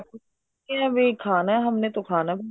ਇਹ ਹੈ ਵੀ ਖਾਣਾ ਹੈ ਹਮਨੇ ਤੋ ਖਾਣਾ ਹੈ